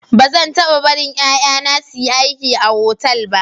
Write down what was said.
Ba zan taba barin yaya na su yi aiki a otal ba.